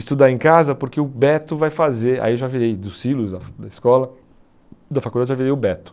estudar em casa, porque o Beto vai fazer, aí eu já virei do silos da da escola, da faculdade eu já virei o Beto.